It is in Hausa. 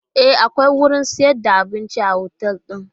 E, akwai wurin sayar da abinci a otal din.